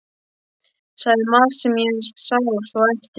Sagði margt sem ég sá svo eftir.